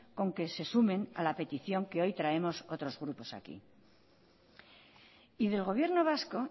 con que se sumen a la petición que hoy traemos otros grupos aquí y del gobierno vasco